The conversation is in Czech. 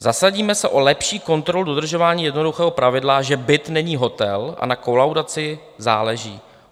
- Zasadíme se o lepší kontrolu dodržování jednoduchého pravidla, že byt není hotel a na kolaudaci záleží.